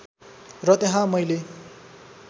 र त्यहाँ मैले